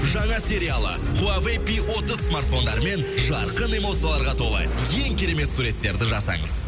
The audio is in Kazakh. жаңа сериалы хуавэй пи отыз смартфондарымен жарқын эмоцияларға толы ең керемет суреттерді жасаңыз